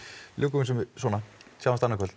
ljúkum þessu svona sjáumst annað kvöld